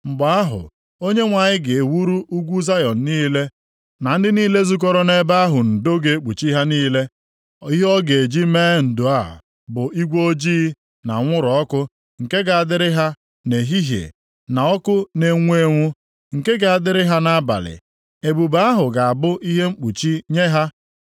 Mgbe ahụ, Onyenwe anyị ga-ewuru ugwu Zayọn niile na ndị niile zukọrọ nʼebe ahụ ndo ga-ekpuchi ha niile. Ihe ọ ga-eji mee ndo a bụ igwe ojii na anwụrụ ọkụ nke ga-adịrị ha nʼehihie, na ọkụ na-enwu enwu, nke ga-adịrị ha nʼabalị. Ebube ahụ ga-abụ ihe mkpuchi nye ha.